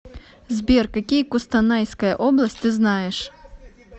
сбер какие кустанайская область ты знаешь